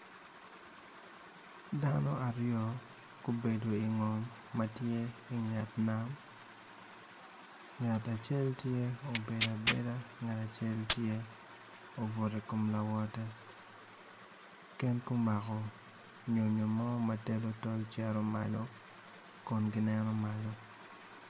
Dano aryo obedo ingom ma tye inget nam nagt acel tye ma obedo abeda ngat acel tye obuto i kom lawote gin gumako nyo mo ma telo tol ceto malo kun gineno malo.